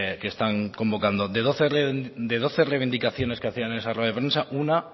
que están convocando de doce reivindicaciones que hacían en esa rueda de prensa una